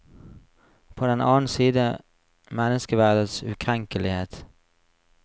På den annen side menneskeverdets ukrenkelighet.